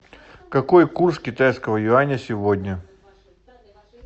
какой курс китайского юаня сегодня